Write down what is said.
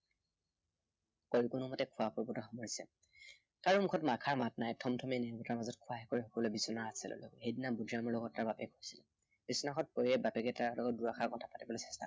কৰিয়েই কোনোমতে খোৱা পৰ্বতো সামৰিছে। কাৰো মুখত এষাৰ মাত নাই। থমথমীয় নিৰৱতাৰ মাজত খোৱা শেষ কৰি সকলোৱে বিচনাৰ কাষলৈ গল। সেইদিনা বুদ্ধিৰামৰ লগত তাৰ বাপেক শুইছিল। বিছনাখনত পৰিয়েই বাপেকে তাৰ লগত দুষাৰ কথা পাতিবলৈ চেষ্টা কৰিলে।